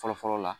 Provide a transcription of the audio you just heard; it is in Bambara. Fɔlɔ fɔlɔ la